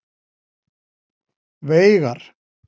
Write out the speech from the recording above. Veigar